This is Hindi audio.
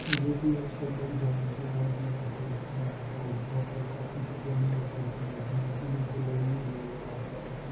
की आप सब जानते होंगे ये दृश्य यहाँ पर होटलों पर काफ़ी जगह न्यूज़ पेपर में मिलती है इन्हें जलेबी बोला जाता है।